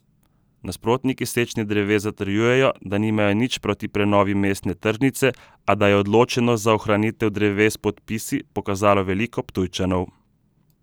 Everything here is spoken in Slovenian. Nasprotniki sečnje dreves zatrjujejo, da nimajo nič proti prenovi mestne tržnice, a da je odločenost za ohranitev dreves s podpisi pokazalo veliko Ptujčanov.